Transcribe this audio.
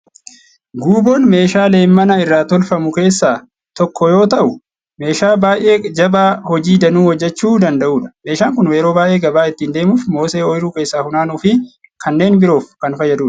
Guuboon meeshaa leemmana irraa tolfamu keessaa tokko yoo ta'u, meeshaa baay'ee jabaa hojii danuu hojjechuu danda'udha. Meeshaan kun yeroo baay'ee gabaa ittiin deemuuf, mosee ooyiruu keessaa funaanuu fi kannneen biroof kan fayyadudha.